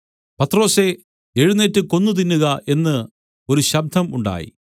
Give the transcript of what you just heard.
പത്രൊസേ എഴുന്നേറ്റ് കൊന്നു തിന്നുക എന്ന് ഒരു ശബ്ദം ഉണ്ടായി